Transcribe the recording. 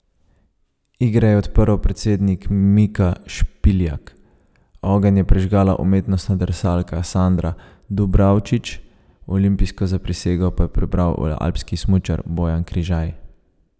Igre je odprl predsednik Mika Špiljak, ogenj je prižgala umetnostna drsalka Sandra Dubravčić, olimpijsko zaprisego pa je prebral alpski smučar Bojan Križaj.